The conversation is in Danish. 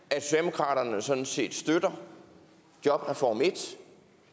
at socialdemokratiet sådan set støtter jobreform i